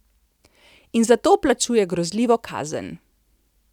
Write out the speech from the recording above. In za to plačuje grozljivo kazen.